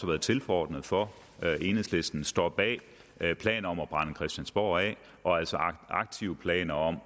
været tilforordnet for enhedslisten står bag planer om at brænde christiansborg af og altså har aktive planer om at